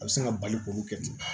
A bɛ sin ka bali k'olu kɛ